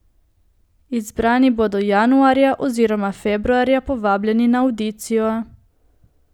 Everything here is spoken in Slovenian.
Izbrani bodo januarja oziroma februarja povabljeni na avdicijo.